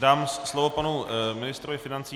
Dám slovo panu ministrovi financí.